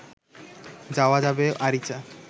যাওয়া যাবে আরিচা